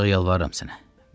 Ancaq yalvarıram sənə.